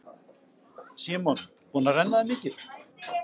Símon: Búin að renna þér mikið?